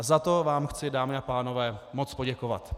A za to vám chci, dámy a pánové, moc poděkovat.